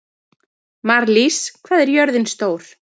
Marlís, hvað er jörðin stór?